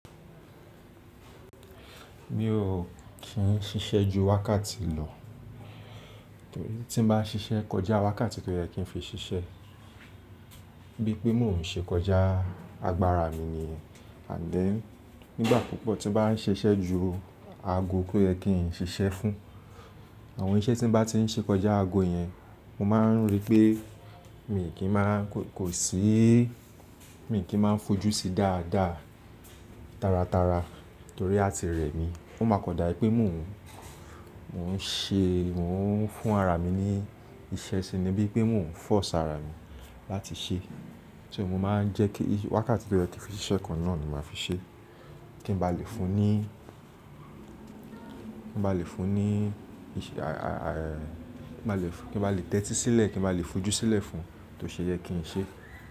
Mi ò kí ń ṣiṣẹ́ ju wákàtí lọ, torí tí n bá ṣiṣẹ́ kọjá wákàtí tó yẹ kí n fi ṣiṣẹ́, bíi pé mò ń ṣe kọjá agbára mi nìyẹn. Ànd then nígbà púpọ̀ tí n bá ń ṣiṣẹ́ ju ago tó yẹ kí ń ṣiṣẹ́ fún, àwọn iṣẹ́ tí n bá ti ń ṣe kọjá ago yẹn, mo máa ń rí pé mi kì í máa kò sí, mi kì í máa fojú sí dáadáa tara tara torí a ti rẹ̀ mí. Ó máa kọ dá ẹ pé mò ń, mò ń ṣe, mò ń fún ara mi ní iṣẹ́ ṣe ni bíi pé mò ń fóṣì ara mi láti ṣe. So mo máa ń jẹ́ kí wákàtí tó yẹ kí fi ṣiṣẹ́ kan náà ni màá fi ṣe. Kí n bá lè fún ní, kí n bá lè fún ní iṣẹ́, kí n bá lè tẹ́tí sílẹ̀, kí n bá lè fojú sílẹ̀ fún un tó ṣe yẹ kí n ṣe.